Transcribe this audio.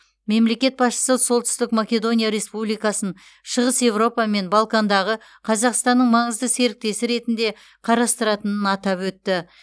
мемлекет басшысы солтүстік македония республикасын шығыс еуропа мен балкандағы қазақстанның маңызды серіктесі ретінде қарастыратынын атап өтті